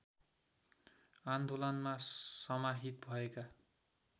आन्दोलनमा समाहित भएका